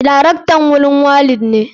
Darektan gurin walid ne.